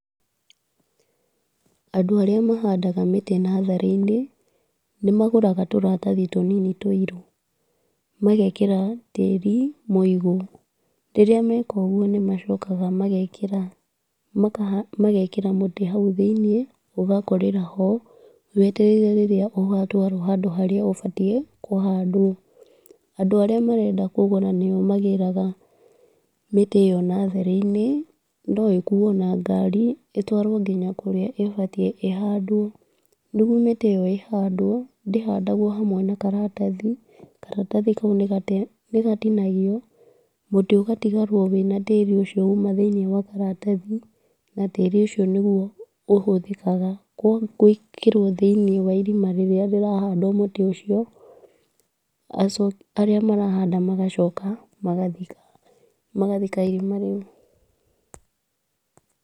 Andũ arĩa mahandaga mĩtĩ natharĩ-inĩ, nĩmagũraga tũratathi tũnini tũirũ, magekĩra tĩri mũigũ, rĩrĩa meka ũguo, nĩmacokaga magekĩra maka magekĩra mũtĩ hau thĩiniĩ, ũgakũrĩra ho, wetereire rĩrĩa ũgatwarwo handũ harĩa habatiĩ kũhandwo, andũ arĩa marenda kũgũra nĩo magĩraga mĩtĩ ĩyo natharĩ-inĩ, no ĩkuo na ngarĩ, ĩtwarwo nginya kũrĩa ĩbatiĩ ĩhandwo, nĩguo mĩtĩ ĩyo ĩhandwo, ndĩhandagwo hamwe na karatathi, karatathi kau nĩgatinagio, mũtĩ ũgatigarwo wĩna tĩri ũcio ũma thĩiniĩ wa karatathi, na tĩri ũcio nĩguo ũhũthĩkaga gwĩkĩrwo thĩiniĩ wa irima rĩrĩa rĩrahandwo mũtĩ ũcio, arĩa marahanda magacoka magathika, magathika irima rĩu.